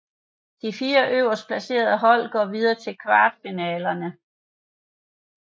De 4 øverst placerede hold går videre til kvartfinalerne